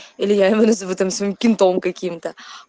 или я его называю там кентом каким-то